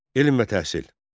Elm və təhsil.